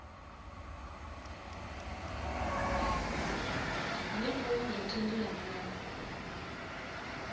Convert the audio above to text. re ngomu zwa thendelano ya